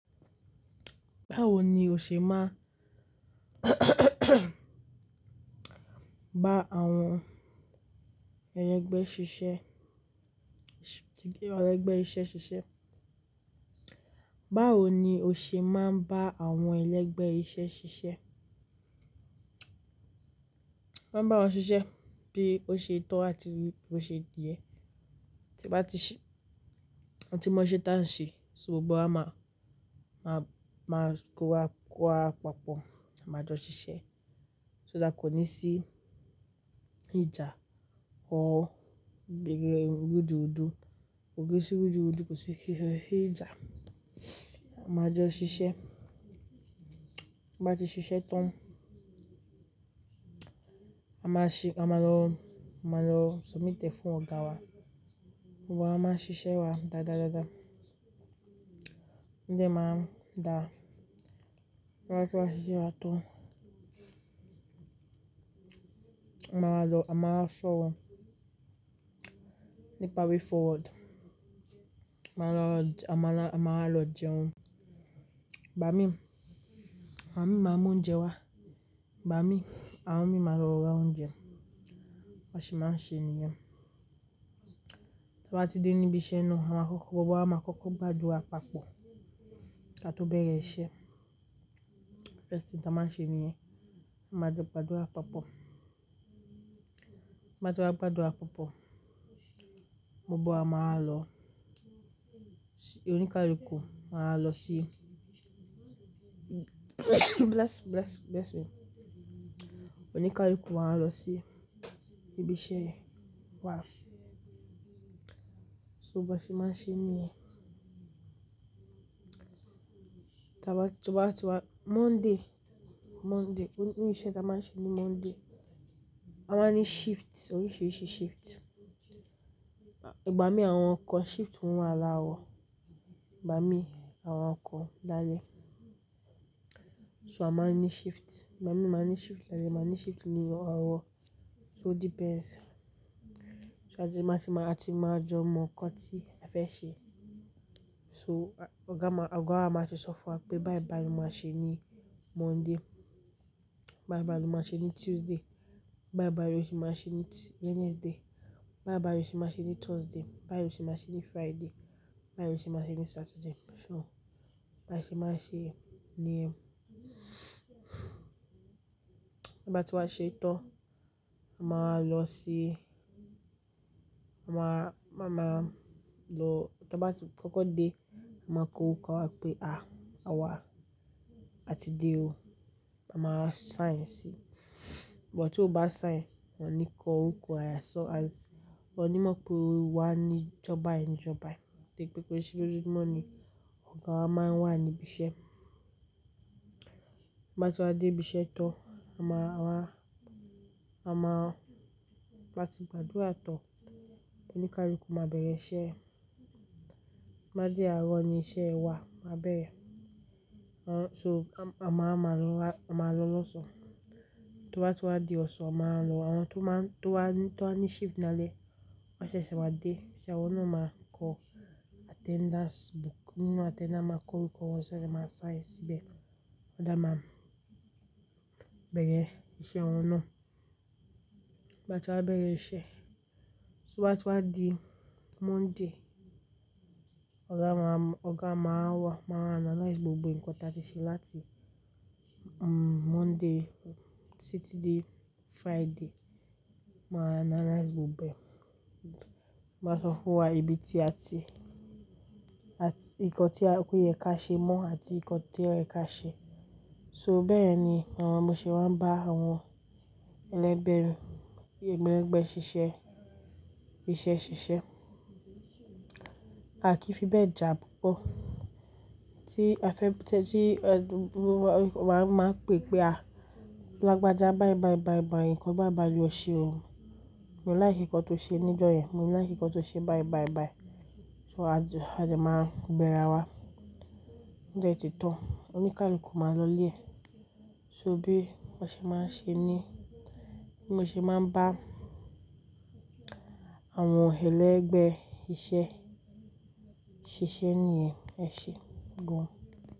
Báwo ni o ṣe máa bá àwọn ẹlẹgbẹ́ ṣiṣẹ́, ti ẹlẹgbẹ́ iṣẹ́ ṣiṣẹ́. Báwo ni o ṣe máa ń bá àwọn ẹlẹgbẹ́ iṣẹ́ ṣiṣẹ́? Mọ́ máa ń bá wọn ṣiṣẹ́ bí ó ṣe tọ́ àti bí ó ṣe yẹ. Tí bá ti ṣe, àti mo iṣe tán ṣe, so gbogbo wa máa, máa, máa kó ara wa papọ̀, a máa jọ ṣiṣẹ́. So dá kò ní sí ìjà ọ́, gbé gẹ irú-du-du. Ko je sí irú-du-du, kò sí ìjà. A máa jọ ṣiṣẹ́. Bá ti ṣiṣẹ́ tán, a máa ṣi-- a máa lọ, a máa lọ submit ẹ fún ọ̀gá wa. Ọ̀gá a máa ṣiṣẹ́ wa dáadáa dáadáa. Nígbà tí máa dá, wọ́n á kó wa ṣiṣẹ́ wa tán. A máa lọ, a máa fò nípa way forward. A máa lọ, a máa lọ, a má wa lọ jẹun. Ìgbà mí, ìgbà mí máa mú oúnjẹ wá. Ìgbà mí, àwọn mi máa lọ ra oúnjẹ. Bi won ṣe má ṣe nìyẹn. Tí a bá ti dé níbi iṣẹ́ náà, àmakọ́kọ́, gbogbo wa máa kọ́kọ́ gbàdúrà papọ̀ ká tó bẹ̀rẹ̀ iṣẹ́. Nkan akoko tí a máa ṣe nìyẹn. A máa jọ gbàdúrà papọ̀. Bí a bá ti wa gbàdúrà papọ̀, gbogbo wa máa wa lọ, oníkálukú, máa lọ sí bless, bless, bless me. Oníkálukú máa lọ sí ibi iṣẹ́ wa. So ba ṣe máa ṣe nìyẹn? Tí a bá ti wá, Monday, Monday, oni iṣẹ́ tí a máa ṣe ní Monday, a máa ní shift, oríṣiríṣi shift. Ìgbà mí àwọn ọkọ̀ shift wọn á la wọ̀. Ìgbà mí àwọn ọkọ̀ dáa lé. So a máa ń ní shift. Ìgbà mí máa ń ní shift lálẹ́, màá ní shift ní arọ̀. So it depends. So a ti máa ti máa, a ti máa jọ mọ nkan tí a fẹ́ ṣe. So ọ̀gá máa, ọ̀gá máa ṣò fún wa pé báyi báyi ni a máa ṣe ní Monday. Báyi báyi ni o máa ṣe ní Tuesday. Báyi báyi ni o ṣe máa ṣe ní Wednesday. Báyi báyi ni o ṣe máa ṣe ní Thursday. Báyi ni o ṣe máa ṣe ní Friday. Báyi ni o ṣe máa ṣe ní Saturday. So bá ṣe máa ṣe nìyẹn. Tí a bá ti wa ṣe tán, a máa lọ sí, a máa, a máa lọ, tí a bá ti kọ́kọ́ dé, a máa kó orúkọ wa pé, "à, àwa ti dé o." A máa sign sí. But tí o bá sign, wọ́n ní kó orúkọ ẹ ya sọ as. Wọ́n ní mọ̀ pé wà á ní ìjo bai ìjọ bai. Nígbà pé ki ṣe ojojumọ́ ni ọ̀gá wa máa ń wà ní ibi iṣẹ́. Bá ti wá dé ibi iṣẹ́ tán, a máa wá, a máa, bá ti gbàdúrà tán, oníkálukú máa bẹ̀rẹ̀ iṣẹ́. Bá di àárọ̀ ni iṣẹ́ wa máa bẹ̀rẹ̀. A n-- so a máa máa lọ, a máa lọ lọ́sàn-án. Tí wọ́n bá ti wá di ọ̀sán, a máa lọ. Àwọn tó máa ń, tó wá, tó wá ní shift lálẹ́, wọ́n ṣẹ̀ṣẹ̀ máa dé. Ṣẹo awọ́n náà máa ń kó attendance book. Nínú attendance máa kó orúkọ wọn sẹibe, won máa sign síbẹ̀. Ọ̀gá máa bẹ̀rẹ̀ iṣẹ́ wọn náà. Bá ti wá bẹ̀rẹ̀ iṣẹ́, tí wọ́n bá ti wá di Monday, ọ̀gá máa, ọ̀gá máa wá, máa analyze gbogbo nǹkan tí a ti ṣe láti, Monday títí dé Friday. Ma analyze gbogbo ẹ. Ma sọ fún wa ibi tí a ti, àti nǹkan tí a pé kí ẹ ká ṣe mọ́ àti nǹkan tí ẹ ká ṣe. So bẹ́ẹ̀ ni àwọn mi ṣe máa ń bá àwọn ẹlẹgbẹ́ ẹni, ẹgbẹ́ ẹlẹgbẹ́ ṣiṣẹ́, iṣẹ́ ṣiṣẹ́. À kí fi bẹ́ẹ̀ ja púpọ̀. Tí a fẹ́ tẹ́ti, ẹ dúró wá, wà á máa pè pé, "à, lọ gbajá báyi báyi báyi báyi, nǹkan báyi báyi ló ṣe o. Mo láì ṣe nǹkan tó ṣe ní ìjọ yẹn. Mo láì ṣe nǹkan tó ṣe báyi báyi báyi." So a je máa bẹ̀ra wa. Nígbà tí ó ti tán, oníkálukú máa lọlé. So bí wọn ṣe máa ń ṣe ní, bí mo ṣe máa ń bá àwọn ẹlẹgbẹ́ iṣẹ́ ṣiṣẹ́ nìyẹn. Ẹ ṣe gan.